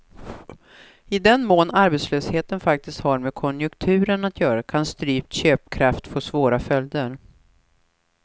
I den mån arbetslösheten faktiskt har med konjunkturen att göra kan strypt köpkraft få svåra följder.